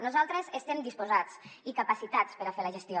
nosaltres estem disposats i capacitats per a fer la gestió